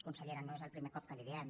consellera no és el primer cop que li ho diem